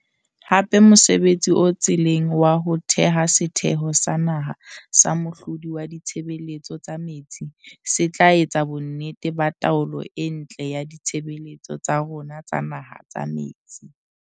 Hape mosebtsi o tseleng wa ho theha Setheho sa Naha sa Mohlodi wa Ditshebeletso tsa Metsi se tla etsa bonnete ba taolo e ntle ya ditshebeletso tsa rona tsa naha tsa metsi.